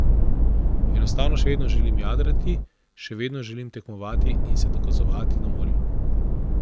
Enostavno še vedno želim jadrati, še vedno želim tekmovati in se dokazovati na morju.